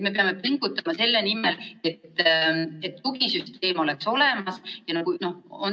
Me peame pingutama selle nimel, et tugisüsteem oleks olemas.